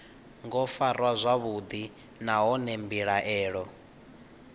ngo farwa zwavhuḓi nahone mbilaelo